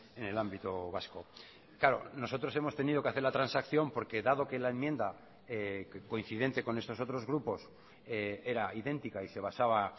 en el ámbito vasco claro nosotros hemos tenido que hacer la transacción porque dado que la enmienda coincidente con estos otros grupos era idéntica y se basaba